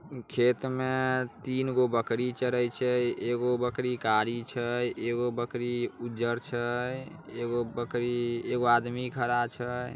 खेत में तीनगो बकरी चरइ छई एगो बकरी करी छै एगो बकरी उजर छै एगो बकरी एगो आदमी खड़ा छै।